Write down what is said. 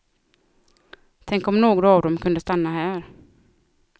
Tänk om några av dem kunde stanna här.